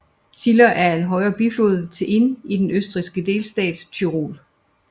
Ziller er en højre biflod til Inn i den østrigske delstat Tyrol